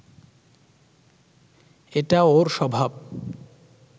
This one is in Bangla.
এটা ওর স্বভাব